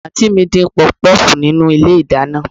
Àǹtí mi ń dín Pọfupọ́ọ̀fù nínú ilé ìdáná